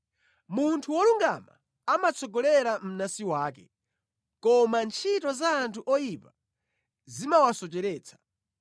Munthu wolungama amatsogolera mnansi wake, koma ntchito za anthu oyipa zimawasocheretsa.